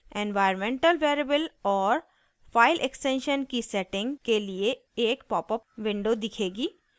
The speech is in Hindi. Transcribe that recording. environmental variable और file extension की सेटिंग के लिए एक पॉपअप विंडो दिखेगी